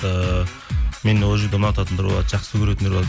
ііі мен ол жерде ұнататындар болады жақсы көретіндер болады